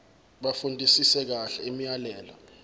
bafundisise kahle imiyalelo